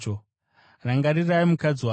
Rangarirai mukadzi waRoti!